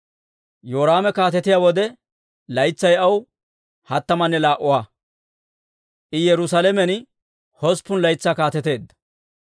Yoraame kaatetiyaa wode, laytsay aw hattamanne laa"uwaa; I Yerusaalamen hosppun laytsaa kaateteedda.